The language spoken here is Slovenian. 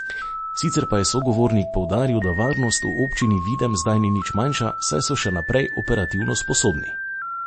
Sicer pa je sogovornik poudaril, da varnost v občini Videm zdaj ni nič manjša, saj so še naprej operativno sposobni.